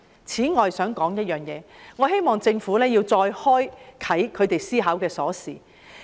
此外，我還想說一點，我希望政府能再開啟他們思考的鎖。